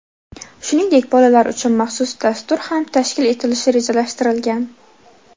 Shuningdek, bolalar uchun maxsus dastur ham tashkil etilishi rejalashtirilgan.